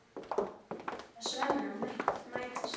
Augu þeirra Svenna mætast.